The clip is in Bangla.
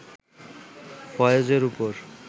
ফয়েজের ওপর